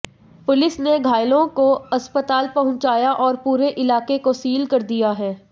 police ने घायलों को अस्पताल पहुंचाया और पूरे इलाके को सील कर दिया है